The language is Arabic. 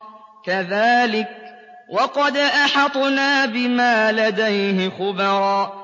كَذَٰلِكَ وَقَدْ أَحَطْنَا بِمَا لَدَيْهِ خُبْرًا